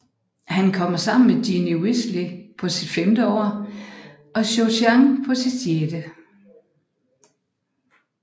Han kommer sammen med Ginny Weasley på sit femte år og Cho Chang på sit sjette